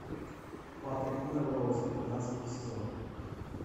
патрик мелроуз пятнадцатый сезон